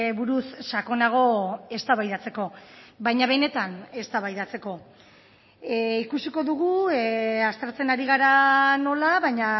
buruz sakonago eztabaidatzeko baina benetan eztabaidatzeko ikusiko dugu aztertzen ari gara nola baina